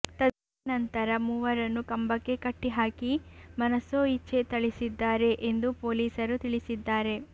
ತದನಂತರ ಮೂವರನ್ನು ಕಂಬಕ್ಕೆ ಕಟ್ಟಿ ಹಾಕಿ ಮನಸೋಇಚ್ಛೇ ಥಳಿಸಿದ್ದಾರೆ ಎಂದು ಪೊಲೀಸರು ತಿಳಿಸಿದ್ದಾರೆ